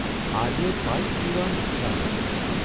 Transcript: આજે પાઇપ પીવાની ઇચ્છા ન થઇ.